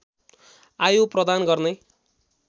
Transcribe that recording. आयु प्रदान गर्ने